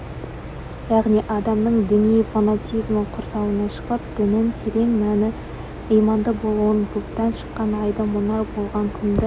яғни адамның діни фанатизмі құрсауынан шығып діннің терең мәні иманды табуын бұлттан шыққан айды мұнар болған күнді